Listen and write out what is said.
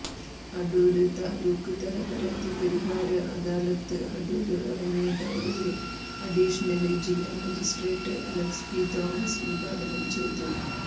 അടൂര് താലൂക്ക്തല പരാതിപരിഹാര അദാലത്ത് അടൂര് റവന്യൂ ടവറില് അഡീഷണല് ജില്ലാ മജിസ്ട്രേറ്റ് അലക്സ് പി തോമസ് ഉദ്ഘാടനം ചെയ്തു